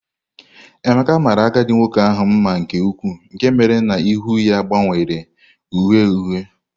Emeka mara agadi nwoke ahụ mma nke ukwuu nke mere na ihu ya gbanwere uhie uhie